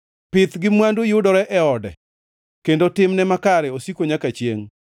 Pith gi mwandu yudore e ode, kendo timne makare osiko nyaka chiengʼ.